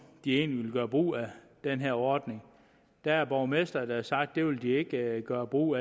de egentlig vil gøre brug af den her ordning der er borgmestre der har sagt at det vil de ikke gøre brug